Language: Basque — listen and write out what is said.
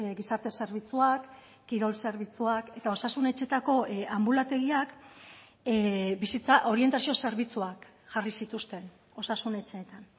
gizarte zerbitzuak kirol zerbitzuak eta osasun etxeetako anbulategiak bizitza orientazio zerbitzuak jarri zituzten osasun etxeetan